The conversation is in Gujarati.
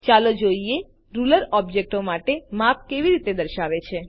ચાલો જોઈએ રૂલર ઓબ્જેક્ટો માટે માપ કેવી રીતે દર્શાવે છે